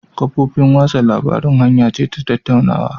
Kafofin watsa labarun hanya ce ta tattaunawa